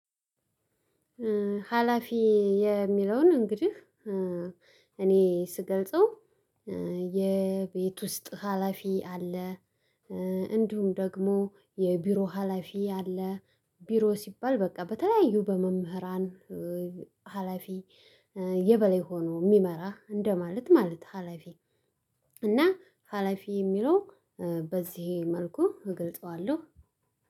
ሀላፊ የሚለውን እንግዲህ እኔ ስገልጸው የቤት ውስጥ ሀላፊ አለ። እንዲሁም ደግሞ የቢሮ ሀላፊ አለ። ቢሮ ሲባል በቃ በተለያዩ በመምህራን ሀላፊ የበላይ ሆኖ የሚመራ እንደማለት ማለት ሀላፊ እና ሀላፊ የሚለው በዚህ መልኩ እገልጠዋለሁ።